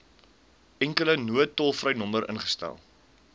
enkele noodtolvrynommer ingestel